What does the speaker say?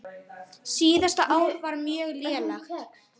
Síðasta ár var mjög lélegt.